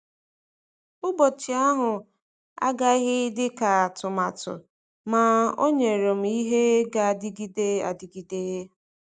Ụbọchị ahụ agaghị dị ka atụmatụ, ma o nyere m ihe na-adịgide adịgide.